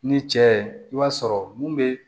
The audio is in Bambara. Ni cɛ i b'a sɔrɔ mun be